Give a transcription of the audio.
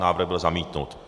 Návrh byl zamítnut.